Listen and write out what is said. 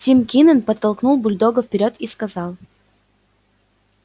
тим кинен подтолкнул бульдога вперёд и сказал